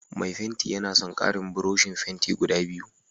Mai fenti yana son karin buroshin fenti guda biyu